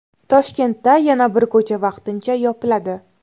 Toshkentda yana bir ko‘cha vaqtincha yopiladi.